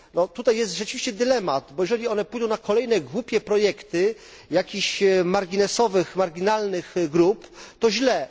Tutaj jest rzeczywiście dylemat, bo jeżeli one pójdą na kolejne głupie projekty jakiś marginesowych, marginalnych grup, to źle.